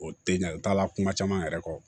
O te ɲɛ u t'a la kuma caman yɛrɛ kɔ